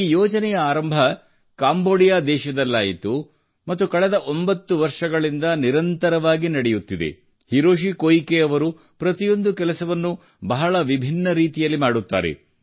ಈ ಯೋಜನೆಯ ಆರಂಭ ಕಾಂಬೋಡಿಯಾ ದೇಶದಲ್ಲಾಯಿತು ಮತ್ತು ಕಳೆದ 9 ವರ್ಷಗಳಿಂದ ನಿರಂತರವಾಗಿ ನಡೆಯುತ್ತಿದೆ ಹಿರೋಶಿ ಕೋಯಿಕೆ ಅವರು ಪ್ರತಿಯೊಂದು ಕೆಲಸವನ್ನೂ ಬಹಳ ವಿಭಿನ್ನ ರೀತಿಯಲ್ಲಿ ಮಾಡುತ್ತಾರೆ